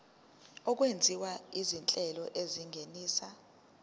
okwenziwa izinhlelo ezingenisa